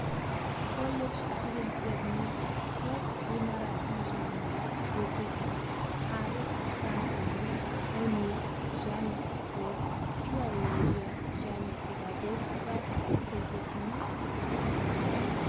колледж студенттеріне сол ғимараттың жанында оқитын тарих заңтану өнер және спорт филология және педагогика факультетінің